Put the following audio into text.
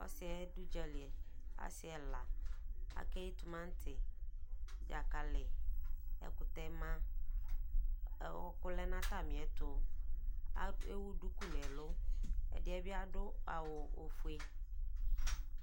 Ɔsiyɛ dʋ ʋdzali asi ɛla akeyi tumati dzakali ɛkʋtɛ ma ɔkʋ lɛnʋ atamiɛtʋ ewʋ dʋkʋ nʋ ɛlʋ ɛdi yɛbi adʋ awʋ ofue